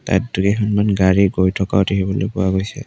তাত দুই এখনমান গাড়ী গৈ থকাও দেখিবলৈ পোৱা গৈছে।